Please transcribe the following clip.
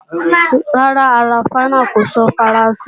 Rárá, ará Ṣáínà kò sọ Faransé.